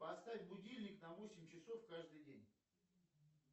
поставь будильник на восемь часов каждый день